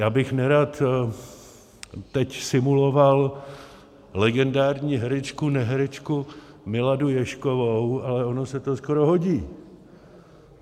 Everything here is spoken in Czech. Já bych nerad teď simuloval legendární herečku neherečku Miladu Ježkovou, ale ono se to skoro hodí.